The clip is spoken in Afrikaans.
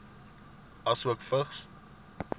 asook vigs